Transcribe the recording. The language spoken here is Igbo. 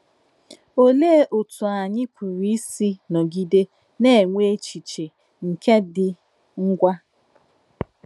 Òlèé òtú ányị̀ pùrù ísì nọ̀gide nà-ènwè èchìchè nke ìdị̀ ngwà.